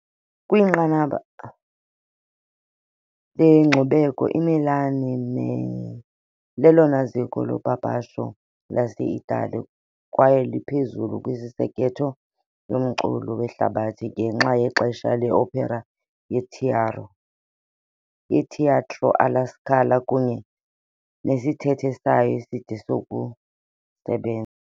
Kwinqanaba lenkcubeko, iMilan lelona ziko lopapasho lase-Italiya kwaye liphezulu kwisekethe yomculo wehlabathi ngenxa yexesha le-opera yeTeatro alla Scala kunye nesithethe sayo eside sokusebenza.